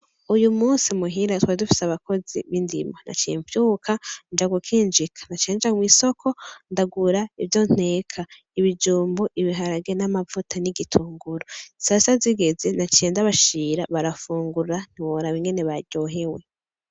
Uyu musi muhira twari dufise abakozi b‘ indimo. Naciye mvyuka nja gu kinjika. Naciye nja kw‘ isoko ndagura ivyo nteka, ibijumbu, ibiharage, amavuta, n‘ igitunguru. Sasita zigeze, naciye ndabashira barafungura ntiworaba ingene baryohewe .